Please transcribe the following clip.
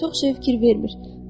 Çox şeyə fikir vermir.